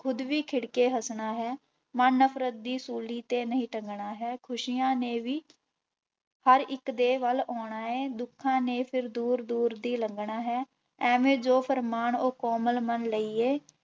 ਖੁਦ ਵੀ ਖਿੜਕੇ ਹੱਸਣਾ ਹੈ ਮਨ ਨਫ਼ਰਤ ਦੀ ਸੂਲੀ ਤੇ ਨਹੀਂ ਟੰਗਣਾ ਹੈ, ਖ਼ੁਸ਼ੀਆਂ ਨੇ ਵੀ ਹਰ ਇੱਕ ਦੇ ਵੱਲ ਆਉਣਾ ਹੈ ਦੁੱਖਾਂ ਨੇ ਫਿਰ ਦੂਰ ਦੂਰ ਦੀ ਲੰਘਣਾ ਹੈ, ਐਵੇਂ ਜੋ ਫੁਰਮਾਣ ਉਹ ਕੋਮਲ ਮਨ ਲਈਏ,